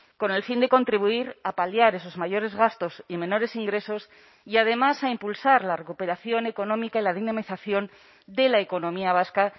con el fin de contribuir a paliar esos mayores gastos y menores ingresos y además a impulsar la recuperación económica y la dinamización de la economía vasca